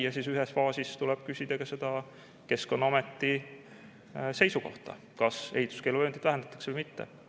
Ja ühes faasis tuleb küsida ka Keskkonnaameti seisukohta, kas ehituskeeluvööndit vähendatakse või mitte.